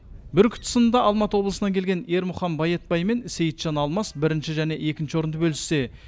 бүркіт сынында алматы облысынан келген ермұхан байетбай мен сейітжан алмас бірінші және екінші орынды бөліссе